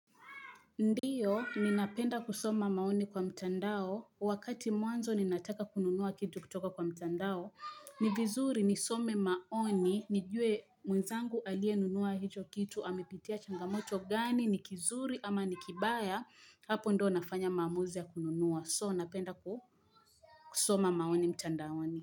Ndiyo, ninapenda kusoma maoni kwa mtandao, wakati mwanzo ninataka kununuwa kitu kutoka kwa mtandao, ni vizuri nisome maoni, nijue mwenzangu aliye nunua hicho kitu, amepitia changamoto gani, nikizuri ama nikibaya, hapo ndio nafanya maamuzi ya kununuwa, so napenda kusoma maoni mtandaoni.